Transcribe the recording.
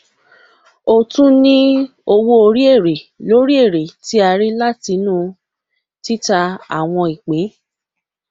o tún ní owó orí èrè lórí èrè tí a rí látinú tìta àwọn ìpín